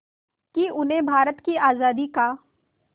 कि उन्हें भारत की आज़ादी का